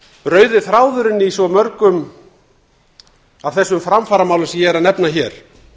rauði þráðurinn í svo mörgum af þessum framfaramálum sem ég er að nefna hér